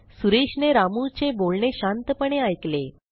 सुरेशने रामूचे बोलणे शांतपणे ऐकले